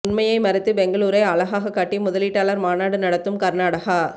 உண்மையை மறைத்து பெங்களூரை அழகாக காட்டி முதலீட்டாளர் மாநாடு நடத்தும் கர்நாடகா